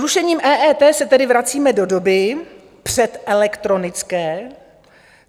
Zrušením EET se tedy vracíme do doby předelektronické.